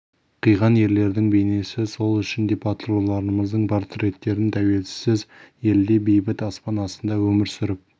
қиған ерлердің бейнесі сол үшін де батырлардың портреттерін тәуелсіз елде бейбіт аспан астында өмір сүріп